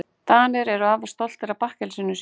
Danir eru afar stoltir af bakkelsinu sínu.